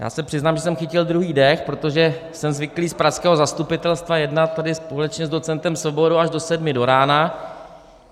Já se přiznám, že jsem chytil druhý dech, protože jsem zvyklý z pražského zastupitelstva jednat tady společně s docentem Svobodou až do sedmi do rána.